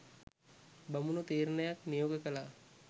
බමුණු තීරණයක් නියෝග කළා.